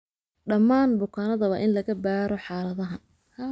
Dhammaan bukaannada waa in laga baaro xaaladahan.